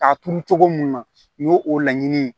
K'a turu cogo mun na o ye o laɲini ye